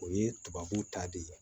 O ye tubabu ta de ye